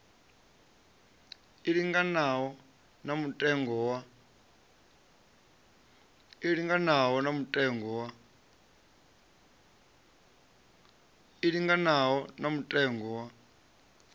i linganaho na mutengo wa